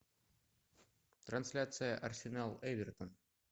трансляция арсенал эвертон